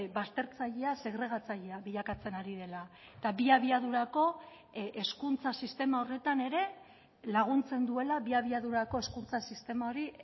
baztertzailea segregatzailea bilakatzen ari dela eta bi abiadurako hezkuntza sistema horretan ere laguntzen duela bi abiadurako hezkuntza sistema hori